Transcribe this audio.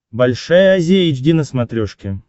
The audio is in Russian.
большая азия эйч ди на смотрешке